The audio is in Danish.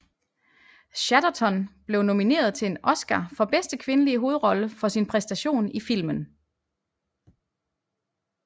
Chatterton blev nomineret til en Oscar for bedste kvindelige hovedrolle for sin præstation i filmen